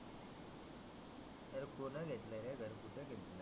अरे कोण घेतल रे घर कुठ घेतल